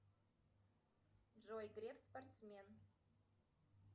джой греф спортсмен